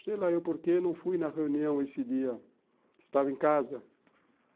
Sei lá eu porque não fui na reunião esse dia, estava em casa.